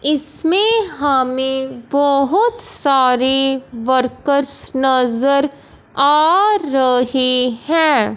इसमें हमें बहुत सारे वर्कर्स नजर आ रहे हैं।